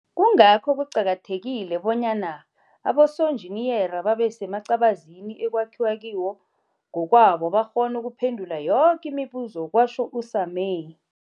Kungakho kuqakathekile bonyana abosonjiniyere babe semacabazini ekwakhiwa kiwo ngokwabo bakghone ukuphendula yoke imibuzo, kwatjho u-Sumay.